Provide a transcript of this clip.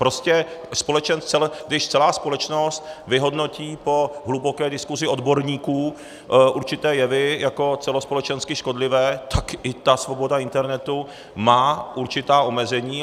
Prostě když celá společnost vyhodnotí po hluboké diskusi odborníků určité jevy jako celospolečensky škodlivé, tak i ta svoboda internetu má určitá omezení.